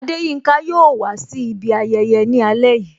Adeyinka yo wà si ibi ayẹyẹ ni ale yìí